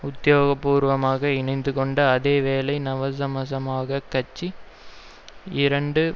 உத்தியோகபூர்வமாக இணைந்துகொண்ட அதே வேளை நவசமசமாஜக் கட்சி இரண்டு